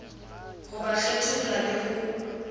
ho ba kgetholla le ho